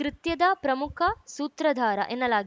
ಕೃತ್ಯದ ಪ್ರಮುಖ ಸೂತ್ರಧಾರ ಎನ್ನಲಾಗಿದ್